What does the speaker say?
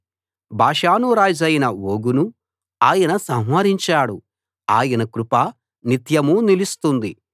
బాషాను రాజైన ఓగును ఆయన సంహరించాడు ఆయన కృప నిత్యమూ నిలుస్తుంది